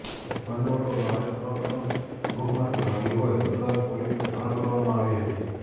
બંને ઓઢવ નારીસંરક્ષણ ગૃહમાંથી ભાગી હોય અમદાવાદ પોલીસને જાણ કરવામાં આવી હતી